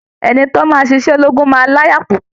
Ẹni tó máa ṣiṣẹ́ ológun máa láyà púpọ̀